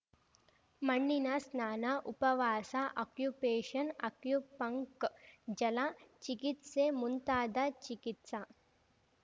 ಮಣ್ಣಿನ ಸ್ನಾನ ಉಪವಾಸ ಅಕ್ಯುಪೇಶನ್ ಅಕ್ಯುಪಂಕ್ಜಲ ಚಿಕಿತ್ಸೆ ಮುಂತಾದ ಚಿಕಿತ್ಸಾ